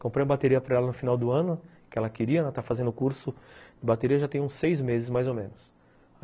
Comprei a bateria para ela no final do ano, que ela queria, ela está fazendo curso de bateria já tem uns seis meses mais ou menos.